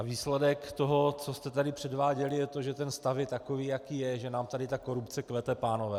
A výsledek toho, co jste tady předváděli, je to, že stav je takový, jaký je, že nám tady ta korupce kvete, pánové.